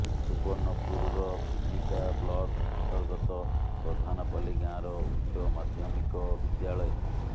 ସୁବର୍ଣ୍ଣପୁରର Binika block ଅନ୍ତର୍ଗତ ପ୍ରଧାନପାଲି ଗାଁର ଉଚ୍ଚ ମାଧ୍ୟମିକ ବିଦ୍ୟାଳୟ